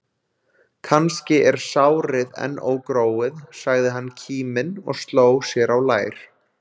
Kannski er sárið enn ógróið, sagði hann kíminn og sló sér á lær.